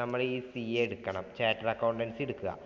നമ്മള് ഈ CA എടുക്കണം. Chattered accountancy എടുക്കുക.